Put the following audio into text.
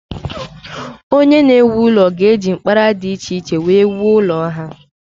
Onye na-ewu ụlọ ga-eji mkpara dị iche iche wee wuo ụlọ ahụ.